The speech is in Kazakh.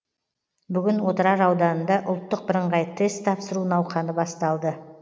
бүгін отырар ауданында ұлттық бірыңғай тест тапсыру науқаны басталды